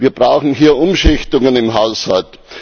Wir brauchen hier Umschichtungen im Haushalt.